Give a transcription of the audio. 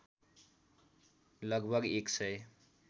लगभग एक सय